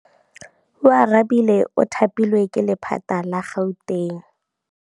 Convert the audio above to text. Oarabile o thapilwe ke lephata la Gauteng.